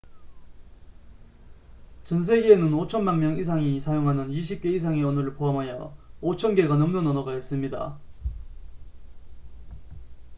전 세계에는 5천만 명 이상이 사용하는 20개 이상의 언어를 포함하여 5,000개가 넘는 언어가 있습니다